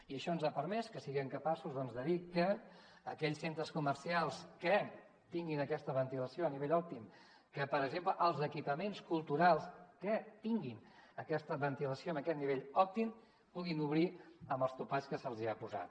i això ens ha permès que siguem capaços doncs de dir que aquells centres comercials que tinguin aquesta ventilació a nivell òptim que per exemple els equipaments culturals que tinguin aquesta ventilació amb aquest nivell òptim puguin obrir amb els topalls que se’ls hi ha posat